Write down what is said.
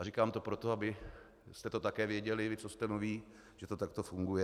A říkám to proto, abyste to také věděli vy, co jste noví, že to takto funguje.